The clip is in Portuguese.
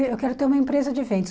Eu eu quero ter uma empresa de eventos.